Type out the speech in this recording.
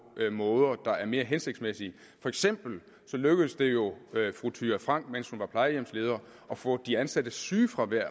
måder der er mere hensigtsmæssige for eksempel lykkedes det jo fru thyra frank mens hun var plejehjemsleder at få de ansattes sygefravær